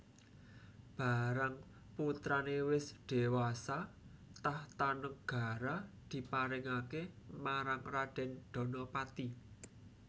Barang putrané wis dhéwasa tahta negara diparingaké marang Radèn Danapati